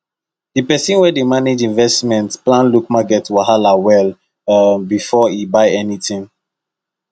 the person wey dey manage investment plan look market wahala well um before e buy anything